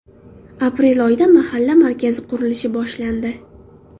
Aprel oyida mahalla markazi qurilishi boshlandi.